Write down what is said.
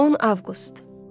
10 Avqust.